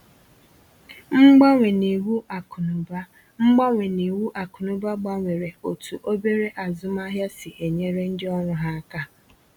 Mgbanwe n’iwu akụnụba Mgbanwe n’iwu akụnụba gbanwere otú obere azụmahịa si e nyere ndị ọrụ ha aka.